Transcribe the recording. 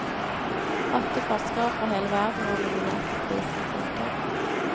Åtte forskere fra hele verden var nominert til prisen. punktum